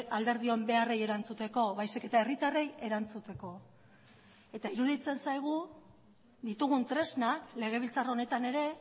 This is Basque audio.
alderdion beharrei erantzuteko baizik eta herritarrei erantzuteko eta iruditzen zaigu ditugun tresnak legebiltzar honetan ere